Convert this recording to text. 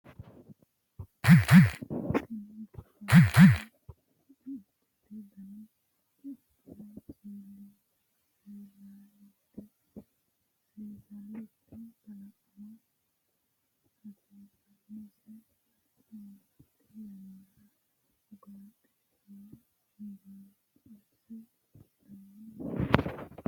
Tini buubbannoti ceichote tini ceichono seesallite kalaqama ikkitanna sidaamu manni fucha yannara hasirannose barcimate yannara ugaaxe shee baallichose adhanno yaate.